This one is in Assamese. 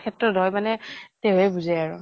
ক্ষেত্ৰত হয় মানে তেওঁহে বুজে আৰু।